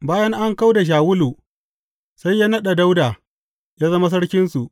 Bayan an kau da Shawulu, sai ya naɗa Dawuda ya zama sarkinsu.